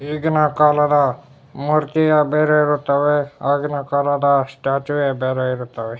ಈಗಿನ ಕಾಲದ ಮೂರ್ತಿಯ ಬೇರೆ ಇರುತ್ತವೆ ಆಗಿನ ಕಾಲದ ಸ್ಟ್ಯಾಚುವೆ ಬೇರೆ ಇರುತ್ತವೆ.